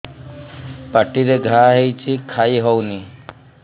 ପାଟିରେ ଘା ହେଇଛି ଖାଇ ହଉନି